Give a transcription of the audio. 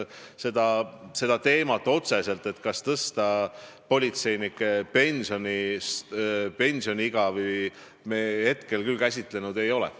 Seda teemat, kas tõsta politseinike pensioniiga, me otseselt küll käsitlenud ei ole.